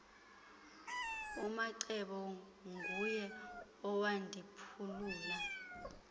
umacebo nguye owandiphulula